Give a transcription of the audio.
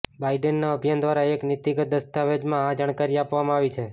બાઈડેનના અભિયાન દ્વારા એક નીતિગત દસ્તાવજેમાં આ જાણકારી આપવામાં આવી છે